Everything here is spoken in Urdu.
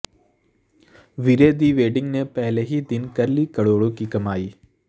ویرے دی ویڈنگ نے پہلے ہی دن کر لی کروڑوں کی کمائی